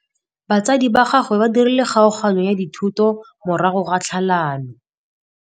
Batsadi ba gagwe ba dirile kgaoganyô ya dithoto morago ga tlhalanô.